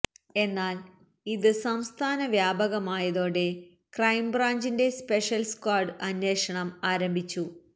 എന്നാല് ഇത് സംസ്ഥാന വ്യാപകമായതോടെ ക്രൈംബ്രാഞ്ചിന്റെ സ്പെഷ്യല് സ്ക്വാഡ് അന്വേഷണം ആരംഭിച്ചു